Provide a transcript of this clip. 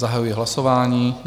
Zahajuji hlasování.